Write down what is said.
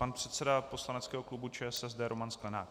Pan předseda poslaneckého klubu ČSSD Roman Sklenák.